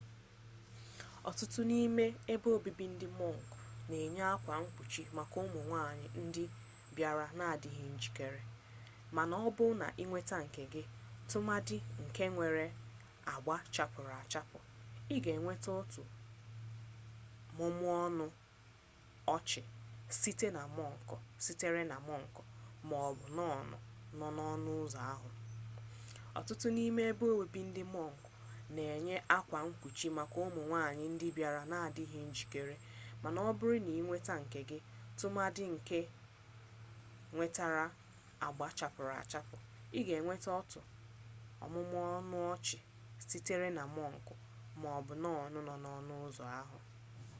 ọtụtụ n'ime ebe obibi ndị mọnk na-enye akwa mkpuchi maka ụmụ nwanyị ndị bịara na-adịghị njikere mana ọ bụrụ na ị weta nke gị tụmadị nke nwere agba chapụrụ achapụ ị ga enweta otu mmụmụ ọnụ ọchị sitere na mọnk ma ọ bụ nọn nọ n'ọnụ ụzọ ahụ